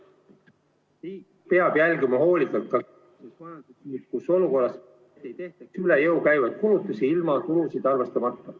Riik peab jälgima hoolikalt, et selles majanduslikus olukorras ei tehtaks üle jõu käivaid kulutusi tulusid arvestamata.